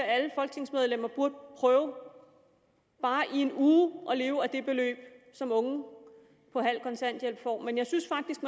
at alle folketingsmedlemmer burde prøve bare i en uge at leve af det beløb som unge på halv kontanthjælp får men jeg synes faktisk